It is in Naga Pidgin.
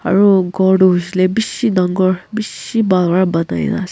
Aro ghor toh hoishe le beshi dangor beshi bhal pra banai na ase.